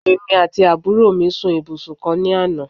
èmi ati aburo mi sun ibusun kan ni Ana